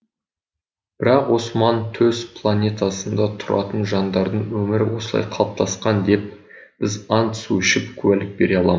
бірақ осман төс планетасында тұратын жандардың өмірі осылай қалыптасқан деп біз ант су ішіп куәлік бере алам